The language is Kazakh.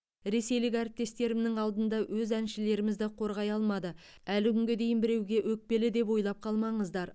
ресейлік әріптестерімнің алдында өз әншілерімізді қорғай алмады әлі күнге дейін біреуге өкпелі деп ойлап қалмаңыздар